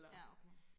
Ja okay